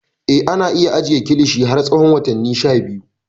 Eh, ana iya ajiye kilishi har tsawon watanni sha biyu.